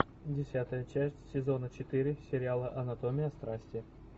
десятая часть сезона четыре сериала анатомия страсти